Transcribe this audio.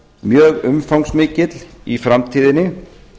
mjög umfangsmikill í framtíðinni